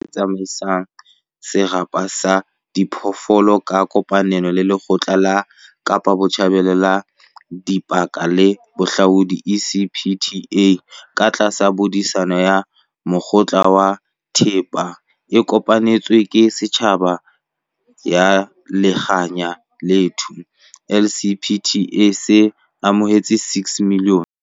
Setjhaba sena, se tsama isang serapa sa diphoofolo ka kopanelo le Lekgotla la Kapa Botjhabela la Dipaka le Bohahlaudi, ECPTA, katlasa bodisa ba Mokgatlo wa Thepa e Kopanetsweng ke Setjhaba ya Likhaya lethu, LCPA, se amohetse R6 milione